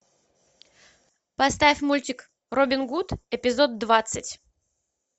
поставь мультик робин гуд эпизод двадцать